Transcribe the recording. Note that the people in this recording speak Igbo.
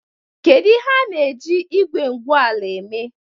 Kedu ihe a na-eji igwe igwu ala eme?